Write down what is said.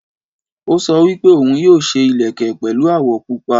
Ó sọ wípé òun yóò ṣe ìlẹ̀kẹ̀ pẹ̀lu àwọ̀ pupa